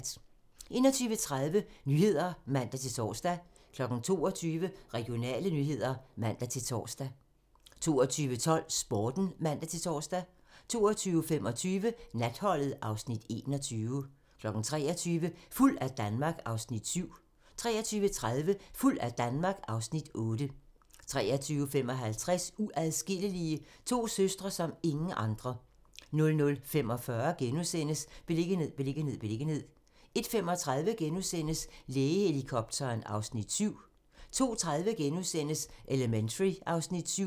21:30: Nyhederne (man-tor) 22:00: Regionale nyheder (man-tor) 22:12: Sporten (man-tor) 22:25: Natholdet (Afs. 21) 23:00: Fuld af Danmark (Afs. 7) 23:30: Fuld af Danmark (Afs. 8) 23:55: Uadskillelige - to søstre som ingen andre 00:45: Beliggenhed, beliggenhed, beliggenhed * 01:35: Lægehelikopteren (Afs. 7)* 02:30: Elementary (Afs. 7)*